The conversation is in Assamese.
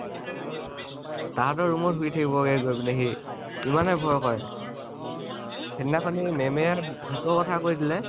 তাহতৰ room গৈ শুই থাকিবগে গৈ পিনে সি, ইমানয়ে ভয় কৰে, সিদিনাখন ma'am ভুতৰ কথা কৈ দিলে